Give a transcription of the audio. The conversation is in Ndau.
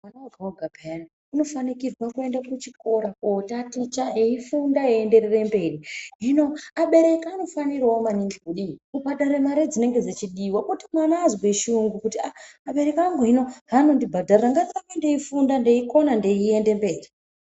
Mwana woga woga peyani unofanirwe kuenda kuchikora kotaticha eyifunda eyienderere mberi. Hino abereki anofanirawo maningi kubhadharire mare dzinenge dzeyidiwa kuti mwana azwe shungu kuti abereki angu hino heanondibhadharira ngandirambe ndeifunda ndeikona ndeyienderera mberi.